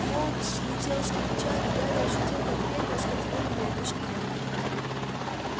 фоукс слетел с плеча и гарри ощутил как перья скользнули по его щеке